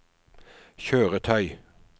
kjøretøy